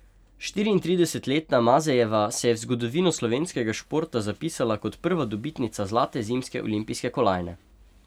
Štiriintridesetletna Mazejeva se je v zgodovino slovenskega športa zapisala kot prva dobitnica zlate zimske olimpijske kolajne.